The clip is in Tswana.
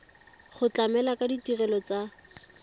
go tlamela ka ditirelo tsa